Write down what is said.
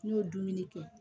N'i y'o dumuni kɛ